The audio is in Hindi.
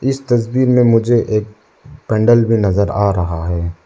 इस तस्वीर में मुझे एक पेंडल भी नजर आ रहा है।